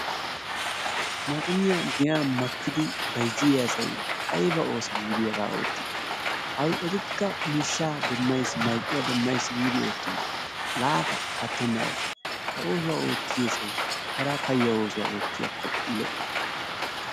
Maxxiniya giyan makkidi bayzziya asay ayba ooso giidi hagaa ootti hay etikka miishshaa demmays giidi marccuwaa demmays gi ootiyona laafa pattena ooso ha oosuwa ootiya asay hara payya oosuwa ootiyakko lo"o.